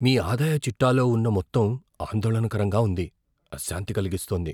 మీ ఆదాయ చిట్టాలో ఉన్న మొత్తం ఆందోళనకరంగా ఉంది, అశాంతి కలిగిస్తోంది.